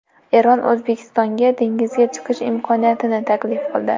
Eron O‘zbekistonga dengizga chiqish imkoniyatini taklif qildi.